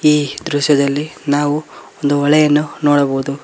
ಈ ಚಿತ್ರದಲ್ಲಿ ನಾವು ಒಂದು ಹೊಳೆಯನ್ನು ನೋಡಬಹುದು.